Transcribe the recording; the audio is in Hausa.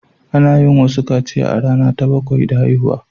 Ana yin wasu kaciya a rana ta bakwai da haihuwa.